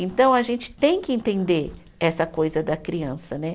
Então, a gente tem que entender essa coisa da criança né.